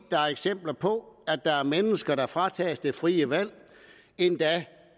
der er eksempler på at der er mennesker der fratages det frie valg endda